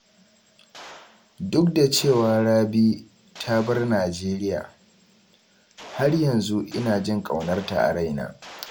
Duk da cewa Rabi ta bar Najeriya, har yanzu ina jin ƙaunarta araina.